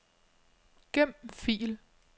Gem fil.